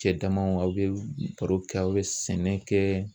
Cɛ damaw aw bɛ baro kɛ aw bɛ sɛnɛ kɛ.